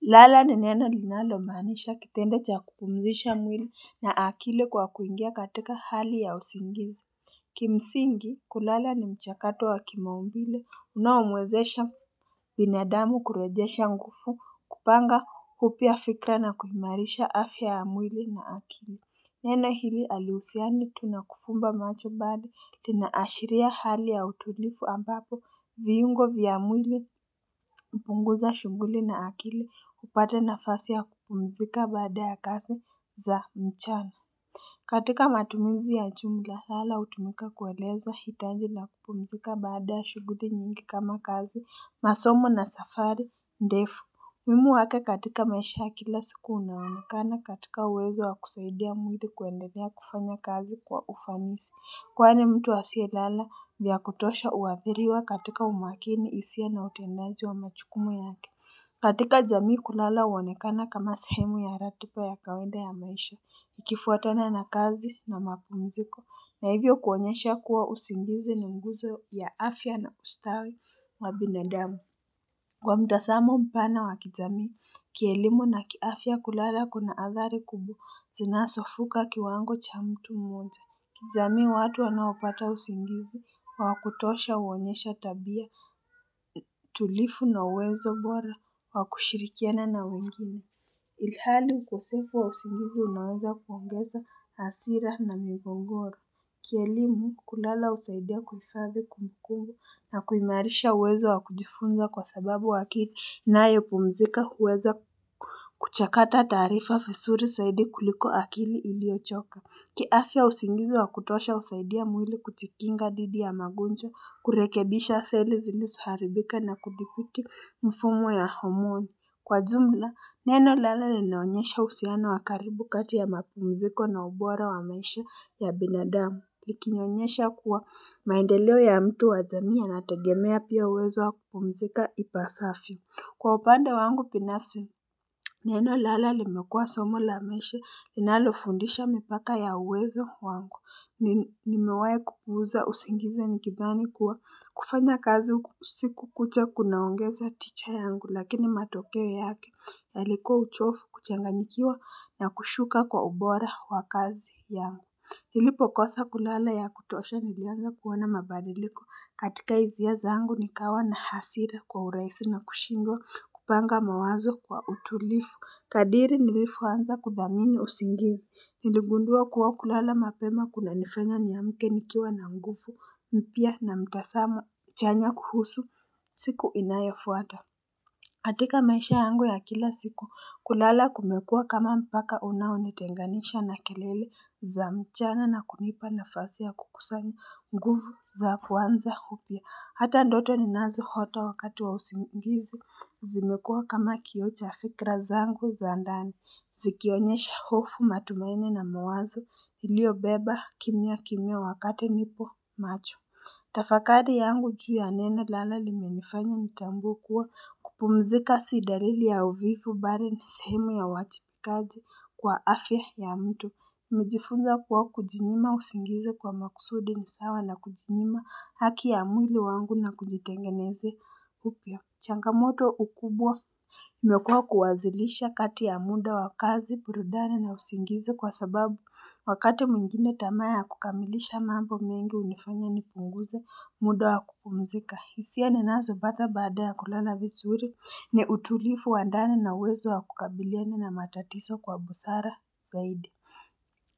Lala ni neno linalomaanisha kitendo cha kupumzisha mwili na akili kwa kuingia katika hali ya usingizi Kimsingi kulala ni mchakato wa kimaumbile unaomwezesha binadamu kurejesha ngufu kupanga upya fikra na kuimarisha afya ya mwili na akili Neno hili halihusiani tu nakufumba macho bali linaashiria hali ya utulifu ambapo viungo vya mwili kupunguza shughuli na akili kupata nafasi ya kupumzika baada ya kazi za mchana katika matumizi ya chumla lala hutumika kueleza hitaji la kupumzika baada ya shughuli nyingi kama kazi masomo na safari ndefu umuhimu wake katika maisha ya kila siku unaonekana katika uwezo wa kusaidia mwili kuendelea kufanya kazi kwa ufanisi Kwani mtu asiyelala vya kutosha uathiriwa katika umakini hisia na utendaji wa machukumu yake katika jamii kulala huonekana kama sehemu ya ratiba ya kawaida ya maisha Ikifuatana na kazi na mapumziko na hivyo kuonyesha kuwa usingizi ni nguzo ya afya na ustawi wa binadamu kwa mtasamo mpana wa kijamii, kielimu na kiafya kulala kuna athari kubwa zinazofuka kiwango cha mtu mmoja. Kijamii watu wanaopata usingizi wa wakutosha huonyesha tabia tulifu na uwezo bora wa kushirikiana na wengine. Ilhali ukosefu wa usingizi unaweza kuongeza hasira na migongoro. Kielimu kulala husaidia kuhifadhi kumbukumbu na kuimarisha uwezo wa kujifunza kwa sababu akili inayopumzika huweza kuchakata taarifa fisuri saidi kuliko akili iliyochoka kiafya usingizi wa kutosha husaidia mwili kujikinga dhidi ya magonjwa kurekebisha seli zilisoharibika na kudhibiti mfumo ya homoni Kwa jumla neno lala linaonyesha uhusiano wa karibu kati ya mapumziko na ubora wa maisha ya binadamu likinyonyesha kuwa maendeleo ya mtu wa jamii yanategemea pia uwezo wakupumzika ipasafyo. Kwa upande wangu pinafsi, neno lala limekuwa somo la maisha linalofundisha mipaka ya uwezo wangu. Nimewahi kupuuza usingizi nikidhani kuwa kufanya kazi usiku kucha kunaongeza ticha yangu lakini matokeo yake yalikuwa uchofu kuchanganyikiwa na kushuka kwa ubora wa kazi yangu. Nilipo kosa kulala ya kutosha nilianza kuona mabadiliko katika hisia zangu nikawa na hasira kwa urahisi na kushindwa kupanga mawazo kwa utulifu. Kadiri nilifoanza kudhamini usingizi. Niligundua kuwa kulala mapema kunanifanya niamke nikiwa na ngufu mpya na mtasamo chanya kuhusu siku inayofuata. Katika maisha yangu ya kila siku, kulala kumekuwa kama mpaka unaonitenganisha na kelele za mchana na kunipa nafasi ya kukusanya nguvu za kuanza upya. Hata ndoto ninazoota wakati wa usingizi, zimekuwa kama kioo cha fikira zangu za ndani, zikionyesha hofu matumaini na mwazo iliyobeba kimya kimya wakati nipo macho. Tafakari yangu juu ya neno lala limenifanya nitambue kuwa kupumzika si daili ya uvivu bali na sehemu ya uwajibikaji kwa afya ya mtu nimejifunza kuwa kujinyima usingizi kwa makusudi ni sawa na kujinyima haki ya mwili wangu na kujitengeneze upya Changamoto ukubwa imekua kuwazilisha kati ya muda wa kazi burudani na usingizi kwa sababu wakati mwingine tamaa ya kukamilisha mambo mengi hunifanya nipunguze muda wa kupumzika. Hisia ninazo pata baada ya kulala visuri ni utulifu wa ndani na uwezo wa kukabiliana na matatiso kwa busara zaidi.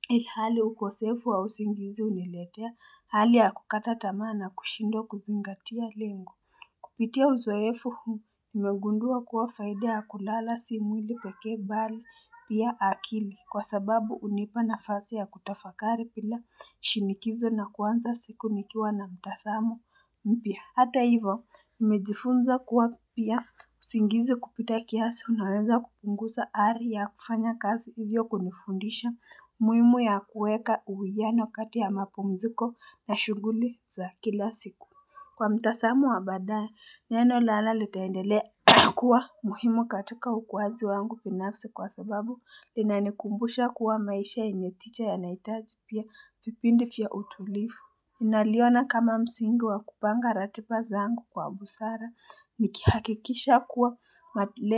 Ilhali ukosefu wa usingizi huniletea hali ya kukata tamaa na kushindwa kuzingatia lengo. Kupitia uzoefu huu nimegundua kuwa faida ya kulala si mwili pekee bali pia akili kwa sababu hunipa nafasi ya kutafakari pila shinikizo na kuanza siku nikiwa na mtazamo mpya. Hata hivo, nimejifunza kuwa pia usingizi kupita kiasi unaweza kupungusa ari ya kufanya kazi hivyo kunifundisha muimu ya kueka uwiano kati ya mapumziko na shughuli za kila siku. Kwa mtasamu wa baadaye neno lala litaendelea kuwa muhimu katika ukuaji wangu binafsi kwa sababu linanikumbusha kuwa maisha yenye ticha yanahitaji pia vipindi vya utulifu ninaliona kama msingi wa kupanga ratiba zangu kwa busara nikihakikisha kuwa matile.